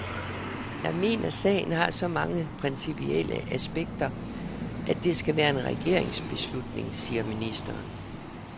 Jeg mener, sagen har så mange principielle aspekter, at det skal være en regeringsbeslutning, siger ministeren.